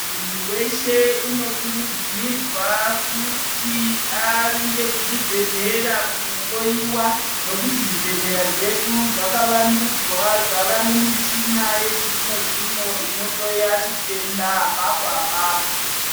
Muntu weshe unokurudzirwa kuti avinde kuchibhedhlera kunohloyiwa nekuti zvibhedhlera zvedu zvakawandudzwa, zvava nemichina yechizvino zvino inohloya chitenda apapo apapo.